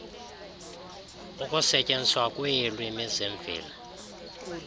ukusetyenziswa kweelwimi zemveli